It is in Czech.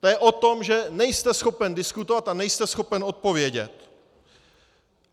To je o tom, že nejste schopen diskutovat a nejste schopen odpovědět.